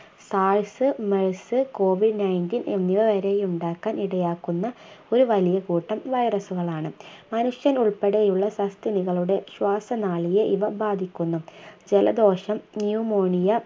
SARSMERSCOVID NINETEEN എന്നിവ വരെയുണ്ടാകാൻ ഇടയാക്കുന്ന ഒരു വലിയ കൂട്ടം വൈറസുകളാണ് മനുഷ്യൻ ഉൾപ്പെടെയുള്ള സസ്തനികളുടെ ശ്വാസനാളിയെ ഇവ ബാധിക്കുന്നു ജലദോഷം Pneumonia